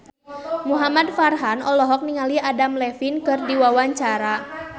Muhamad Farhan olohok ningali Adam Levine keur diwawancara